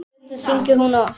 Stundum hringdi hún oft.